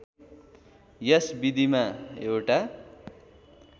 यस विधिमा एउटा